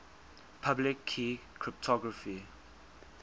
public key cryptography